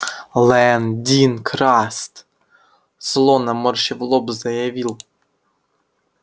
лэн дин краст зло наморщив лоб заявил